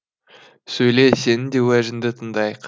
сөйле сенің де уәжіңді тыңдайық